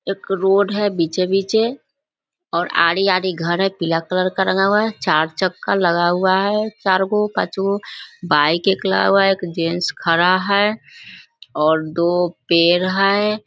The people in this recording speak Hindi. एक रोड है बिचे-बिचे और आधी-आधी घर है। पिला कलर का रंगा हुआ है। चार-चक्का लगा हुआ है बाइक एक लगा हुआ है। एक जेन्ट्स एक खड़ा है और दो पेड़ हय |